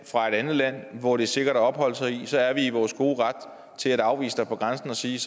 fra et andet land hvor det er sikkert at opholde sig så er vi i vores gode ret til at afvise dig på grænsen og sige